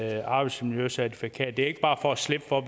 et arbejdsmiljøcertifikat det er ikke bare for at slippe for